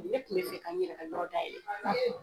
Ne tun be fɛ ka, n yɛrɛ ka yɔrɔ dayɛlɛ